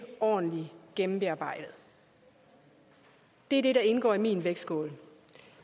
ordentlig gennemarbejdet det er det der indgår i min vægtskål